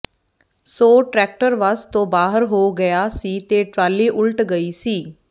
ਸੋ tractor ਵੱਸ ਤੋਂ ਬਾਹਰ ਹੋ ਗਿਆ ਸੀ ਤੇ ਟਰਾਲੀ ਉਲਟ ਗਈ ਸੀ